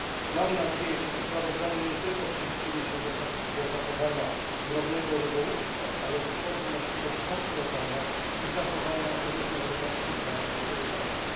Mam nadzieję, że to sprawozdanie nie tylko przyczyni się do zachowania drobnego rybołówstwa, ale stworzy możliwość konkurowania i zachowania różnorodności branży rybackiej.